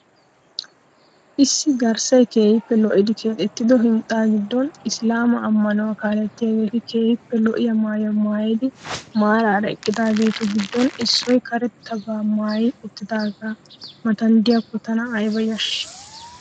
Issi garssay keehiippe lo'idi keexettido hinxxaa giddon Islaama amanuwa kaaliyaageeti keehiippe lo'iyaa maayuwa mayidi maarara eqqidaageetu giddon issoy karettaba maayi uttagee matan diyakko tana ayba yashii!